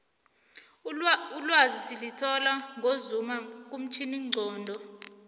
ulwazi silithola ngozuma kumtjhini nqondo